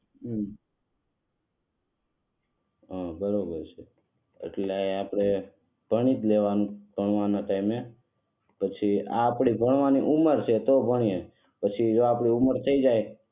હમ હા બરોબર છે એટલે આપણે ભણી લેવાનું ભણવાના ટાઈમે પછી આ આપણી ભણવાની ઉંમર છે તો ભણીયે